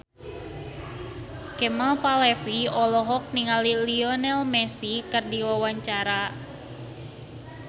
Kemal Palevi olohok ningali Lionel Messi keur diwawancara